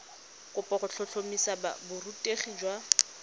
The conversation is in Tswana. kopo go tlhotlhomisa borutegi jwa